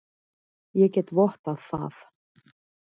Ég get vottað það.